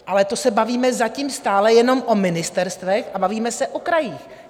Ale to se bavíme zatím stále jenom o ministerstvech a bavíme se o krajích.